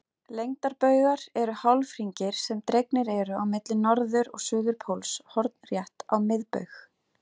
Lengdarbaugar eru hálfhringir sem dregnir eru á milli norður- og suðurpóls hornrétt á miðbaug.